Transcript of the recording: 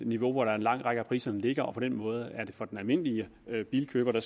niveau hvor en lang række af priserne ligger og på den måde for den almindelige bilkøber